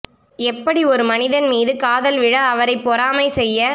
எப்படி ஒரு மனிதன் மீது காதல் விழ அவரை பொறாமை செய்ய